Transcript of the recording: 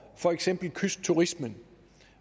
for eksempel kystturismen